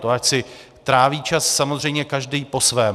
To ať si tráví čas samozřejmě každý po svém.